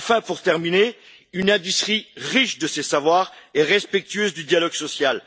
Enfin, nous avons besoin d'une industrie riche de ses savoirs et respectueuse du dialogue social.